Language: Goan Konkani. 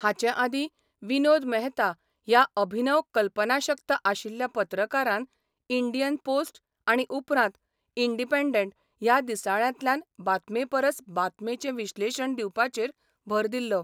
हाचे आदीं विनोद मेहता ह्या अभिनव कल्पनाशक्त आशिल्ल्या पत्रकारान इंडियन पोस्ट आनी उपरांत इंडिपेंडेंट ह्या दिसाळ्यांतल्यान बातमेपरस बातमेचें विश्लेशण दिवपाचेर भर दिल्लो.